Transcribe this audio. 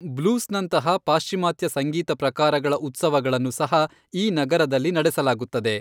ಬ್ಲೂಸ್ನಂತಹ ಪಾಶ್ಚಿಮಾತ್ಯ ಸಂಗೀತ ಪ್ರಕಾರಗಳ ಉತ್ಸವಗಳನ್ನು ಸಹ ಈ ನಗರದಲ್ಲಿ ನಡೆಸಲಾಗುತ್ತದೆ.